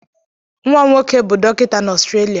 Nwa m nwoke bụ dọkịta na Australia.